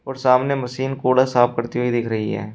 और सामने मशीन कूड़ा साफ करते हुए दिख रही है।